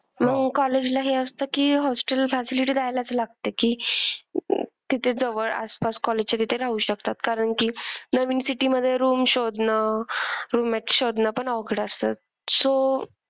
म्हणून college ला हे असतं की hostel facility राहायलाच लागते की तिथे जवळ आसपास college च्या तिथे राहू शकतात कारण की नवीन city मधे room शोधणं, roommate शोधणं पण अवघड असतं. so